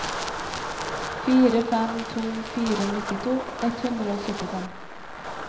fire fem to fire nittito ett hundre og syttifem